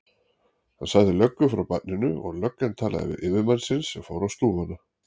Hann sagði löggu frá barninu og löggan talaði við yfirmann sinn sem fór á stúfana.